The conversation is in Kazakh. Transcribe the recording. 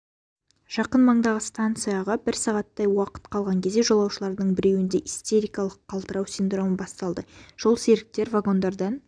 жақын маңдағы станцияға бір сағаттай уақыт қалған кезде жолаушылардың біреуінде истерикалық қалтырау синдромы басталды жолсеріктер вагондардан